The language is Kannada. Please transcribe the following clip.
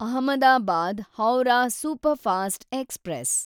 Ahmedabad Howrah superfast express